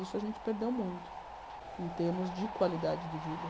Isso a gente perdeu muito em termos de qualidade de vida.